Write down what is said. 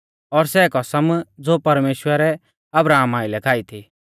और सै कसम ज़ो परमेश्‍वरै अब्राहमा आइलै खाई थी